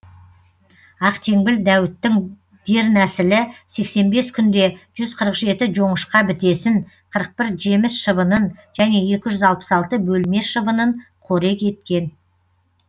ақтеңбіл дәуіттің дернәсілі сексен бес күнде жүз қырық жеті жоңышқа бітесін қырық бір жеміс шыбынын және екі жүз алпыс алты бөлме шыбынын қорек еткен